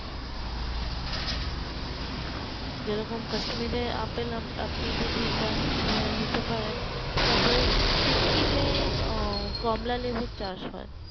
যেরকম কাশ্মীর এ আপেল আপনি যদি চান এ নিতে পারবেন তারপরে সিক্কিম এ কমলালেবুর চাষ হয়